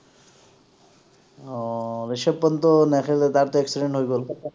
আহ ৰিশভ পন্ট ও নেখেলে তাৰ তো accident হৈ গল